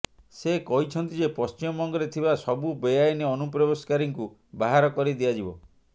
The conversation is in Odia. ସେ କହିଛନ୍ତି ଯେ ପଶ୍ଚିମବଙ୍ଗରେ ଥିବା ସବୁ ବେଆଇନ ଅନୁପ୍ରବେଶକାରୀଙ୍କୁ ବାହାର କରିଦିଆଯିବ